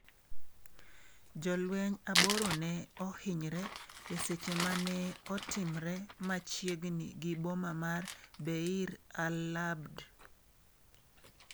jolweny aboro ne ohinyre e seche mane otimre machiegni gi boma ma Beir al-Abd.